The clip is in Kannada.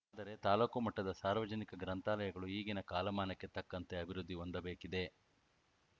ಆದರೆ ತಾಲೂಕು ಮಟ್ಟದ ಸಾರ್ವಜನಿಕ ಗ್ರಂಥಾಲಯಗಳು ಈಗಿನ ಕಾಲಮಾನಕ್ಕೆ ತಕ್ಕಂತೆ ಅಭಿವೃದ್ಧಿ ಹೊಂದಬೇಕಿದೆ